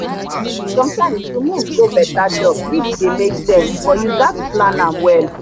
sometimes to move go better job fit dey make sense but you gats plan am well.